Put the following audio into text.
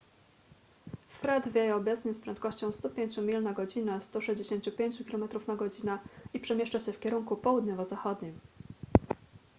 fred wieje obecnie z prędkością 105 mil na godzinę 165 km/godz. i przemieszcza się w kierunku południowo-zachodnim